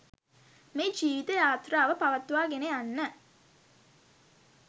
මේ ජීවිත යාත්‍රාව පවත්වා ගෙන යන්න